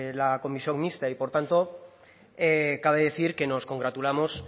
la comisión mixta y por tanto cabe decir que nos congratulamos